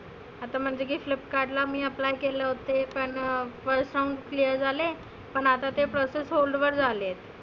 आता म्हणजे getup card ला मी apply केलंं होते पण first round clear झाले होते. पण आता ते पैसे hold वर झाले.